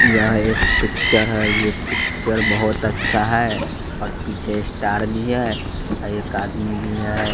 यह एक पिक्चर है ये पिक्चर बहोत अच्छा है और पीछे स्टार भी है एक आदमी भी हैं।